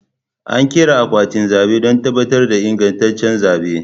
An ƙera akwatin zaɓe don tabbatar da ingantaccen zaɓe